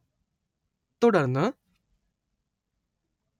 , തുടർന്ന്